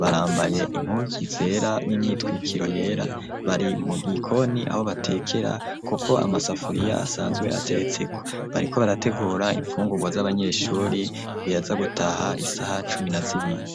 barambaye impuzu zera n'imyitwikiro yera bari mu gikoni aho batekera, kuko amasafuriya asanzwe ateretseko bariko barategura imfungurwa z'abanyeshuri biraza gutaha isaha cumi na zibiri.